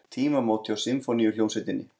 Tímamót hjá Sinfóníuhljómsveitinni